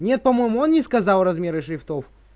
нет по-моему он не сказал размеры шрифтов